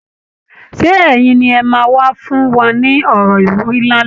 Ṣé ẹ̀yin ni ẹ máa wá fún wa ní ọ̀rọ̀ ìwúrí lálẹ́?